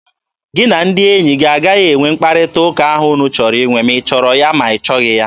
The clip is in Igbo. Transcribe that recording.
Gị na ndị enyi gị agaghị enwe mkparịta ụka ahụ unu chọrọ inwe! Ma ị chọrọ ya, ma ị chọghị ya!